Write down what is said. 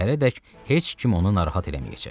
Səhərədək heç kim onu narahat eləməyəcək.